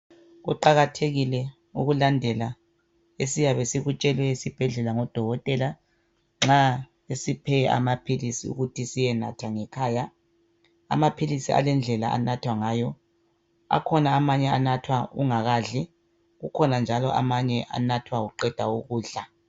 Kuqakathekile ukulandela esiyabe sikutshelwe esibhedlela ngabodokotela nxa besiphe amaphilisi ukuthi siyenatha ngekhaya. Amaphilisi alendlela anathwa ngayo. Akhona amanye anathwa ungakadli kukhona njalo amanye anathwa uqeda ukudla.